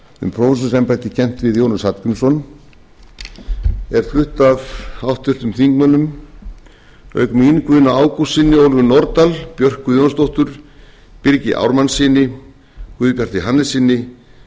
um prófessorsembætti tengt við jónas hallgrímsson er flutt af háttvirtum þingmönnum auk mín guðna ágústssyni ólöfu nordal björk guðjónsdóttur birgi ármannssyni guðbjarti hannessyni